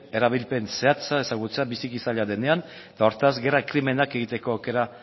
erabilpen zehatza ezagutzea biziki zaila denean eta hortaz gerra krimenak egiteko aukera